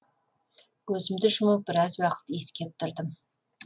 көзімді жұмып біраз уақыт иіскеп тұрдым